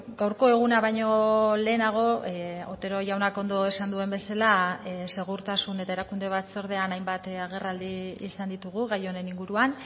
gaurko eguna baino lehenago otero jaunak ondo esan duen bezala segurtasun eta erakunde batzordean hainbat agerraldi izan ditugu gai honen inguruan